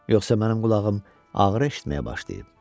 Yoxsa mənim qulağım ağır eşitməyə başlayıb?